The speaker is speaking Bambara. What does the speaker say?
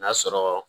N'a sɔrɔ